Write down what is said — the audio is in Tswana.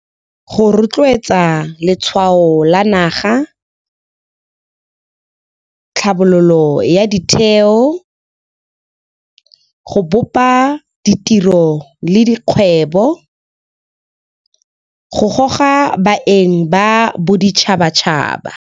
Go rotloetsa letshwao la naga, tlhabololo ya ditheo, go bopa ditiro le dikgwebo go goga baeng ba boditšhabatšhaba.